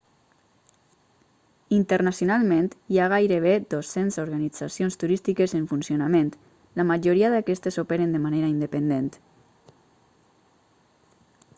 internacionalment hi ha gairebé 200 organitzacions turístiques en funcionament la majoria d'aquestes operen de manera independent